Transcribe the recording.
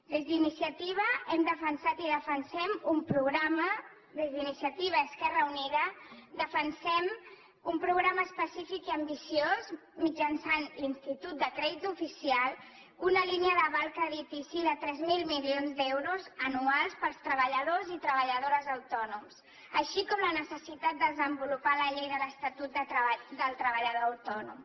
des d’iniciativa hem defensat i defensem un programa des d’iniciativa esquerra unida defensem un programa específic i ambiciós mitjançant l’institut de crèdit oficial una línia d’aval creditici de tres mil milions d’euros anuals per als treballadors i treballadores autònoms així com la necessitat de desenvolupar la llei de l’estatut del treballador autònom